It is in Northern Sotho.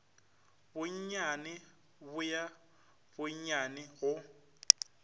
bonnyane bo ya bonnyane go